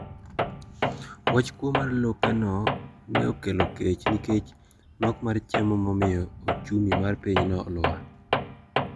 Wach kuo mar lopeno ne okelo kech nikech nok mar chiemo momiyo ochumi mar pinyno olwar.